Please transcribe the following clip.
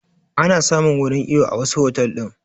Ana samun wurin iyo a wasu otal ɗin